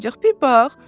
bir bax!